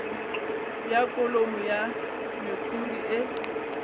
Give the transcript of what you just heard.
bja kholomo ya mekhuri e